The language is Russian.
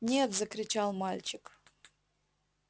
нет закричал мальчик